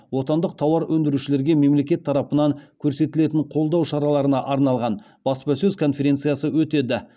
отандық тауар өндірушілерге мемлекет тарапынан көрсетілетін қолдау шараларына арналған баспасөз конференциясы өтеді